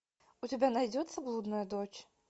у тебя найдется блудная дочь